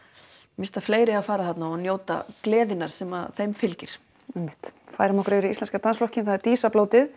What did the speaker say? mér finnst að fleiri eigi að fara þarna og njóta gleðinnar sem þeim fylgir einmitt færum okkur yfir í Íslenska dansflokkinn það er